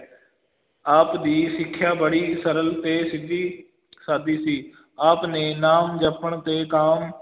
ਆਪ ਦੀ ਸਿੱਖਿਆ ਬੜੀ ਸਰਲ ਤੇ ਸਿੱਧੀ ਸਾਦੀ ਸੀ ਆਪ ਨੇ ਨਾਮ ਜੱਪਣ ਤੇ ਕਾਮ,